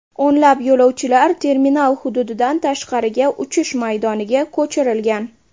O‘nlab yo‘lovchilar terminal hududidan tashqariga, uchish maydoniga ko‘chirilgan.